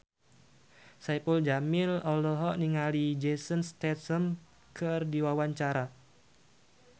Saipul Jamil olohok ningali Jason Statham keur diwawancara